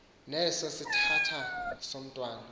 neso sithathana somntwana